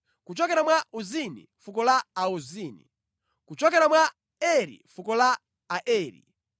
kuchokera mwa Ozini, fuko la Aozini; kuchokera mwa Eri, fuko la Aeri;